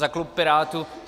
Za klub Pirátů.